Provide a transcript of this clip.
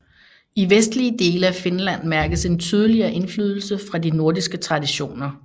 I vestlige dele af Finland mærkes en tydeligere indflydelse fra de nordiske traditioner